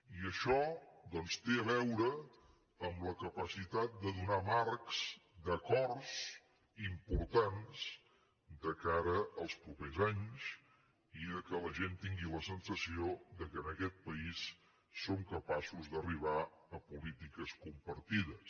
i això doncs té a veure amb la capacitat de donar marcs acords importants de cara als propers anys i que la gent tingui la sensació que en aquest país som capaços d’arribar a polítiques compartides